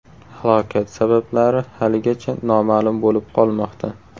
Halokat sabablari haligacha noma’lum bo‘lib qolmoqda.